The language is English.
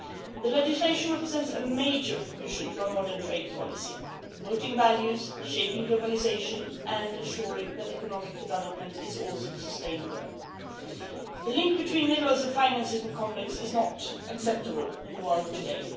The legislation represents a major contribution to a modern trade policy, promoting values, shaping globalisation and ensuring that economic development is also sustainable. The link between minerals and financing conflicts is not acceptable in the world today